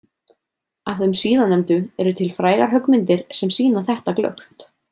Af þeim síðarnefndu eru til frægar höggmyndir sem sýna þetta glöggt.